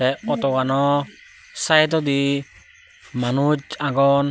tay otogano sydodi manuch agon.